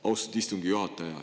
Austatud istungi juhataja!